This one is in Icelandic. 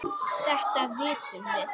Þetta vitum við.